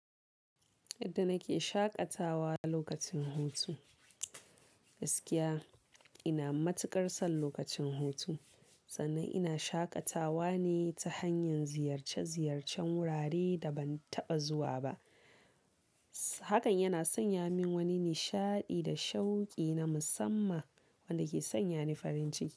Yadda nake shaƙatawa lokacin hutu. Gaskiya ina matuƙar son lokacin hutu, sannan ina shaƙatawa ne ta hanyar ziyarce-ziyarcen wurare da ban taɓa zuwa ba. Hakan yana sanya min wani nishaɗi da shauki na musamman wanda ke sanya ni farin ciki.